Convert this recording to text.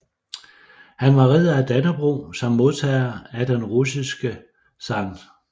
Han var Ridder af Dannebrog samt modtager af den russiske Skt